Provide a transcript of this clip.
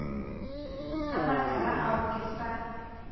a matala ao ke sa